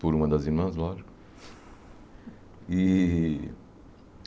por uma das irmãs, lógico. E